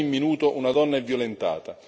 Ogni minuto una donna è violentata.